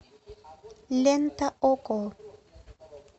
лента окко